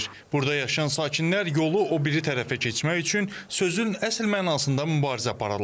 Burada yaşayan sakinlər yolu o biri tərəfə keçmək üçün sözün əsl mənasında mübarizə aparırlar.